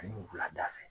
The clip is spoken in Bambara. Ani wulada fɛ